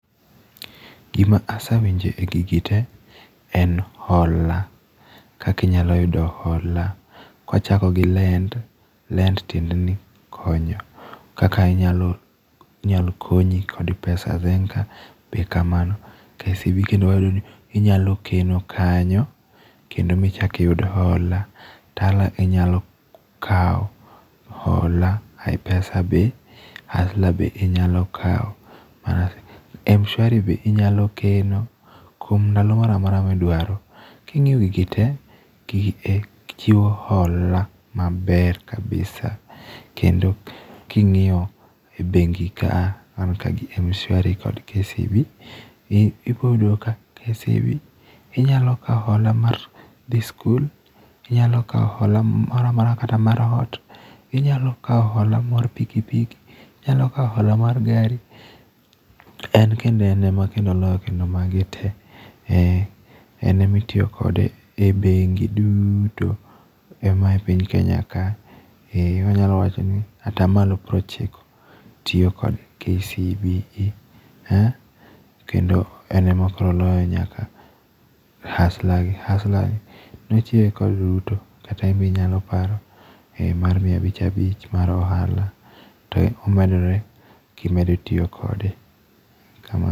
Gima asewinjo e gigi te en hola. Kaka inyalo yudo hola. Kwachako gi Lend. Lend tiende ni konyo. Kaka inyalo inyalo konyi kode pesa. Zenka be kamano. KCB kendo wayudo ni inyalo keno kanyo, kendo michak iyud hola. Tala inyalo kao hola. Ipesa be. Hustler be inyalo kao. Mshwari be inyalo keno kuom ndalo moramora midwaro. King'iyo gigi te, gigi e chiwo hola maber kabisa. Kendo king'iyo e bengi kaa, an ka gi Mshwari kod KCB. Ibo yudo ka KCB inyalo kao hola mar dhi skul, inyalo kao hola moramora kata mar ot. Inyalo kao hola mar pikipiki, inyalo kao hola mar gari. En kendo en ema kendo oloyo kendo magi te. En ema itiyo kode e bengi duto mae piny Kenya ka. Wanyalo wacho ni atamalo piero ochiko tiyo kod KCB. Kendo en ema oloyo nyaka hustler gi. Hustler gi nochiwe kod Ruto kata in bi inyalo paro, mar mia abich abich mar ohala, to omedore kimedo tiyo kode.